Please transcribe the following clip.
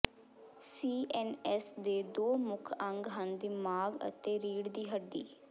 CNS ਦੇ ਦੋ ਮੁੱਖ ਅੰਗ ਹਨ ਦਿਮਾਗ ਅਤੇ ਰੀੜ੍ਹ ਦੀ ਹੱਡੀ